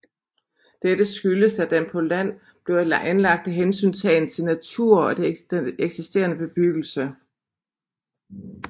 Dette skyldes at den på land blev anlagt af hensyntagen til natur og det eksisterende bebyggelse